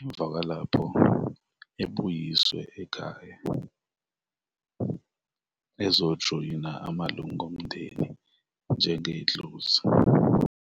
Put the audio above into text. emva kwalapho ebuyiswe ekhaya ezojoyina amalunga omndeni njengedlozi.